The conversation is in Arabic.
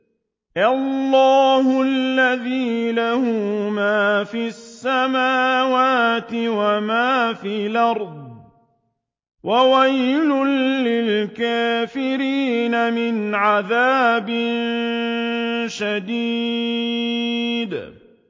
اللَّهِ الَّذِي لَهُ مَا فِي السَّمَاوَاتِ وَمَا فِي الْأَرْضِ ۗ وَوَيْلٌ لِّلْكَافِرِينَ مِنْ عَذَابٍ شَدِيدٍ